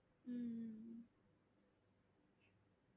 உம்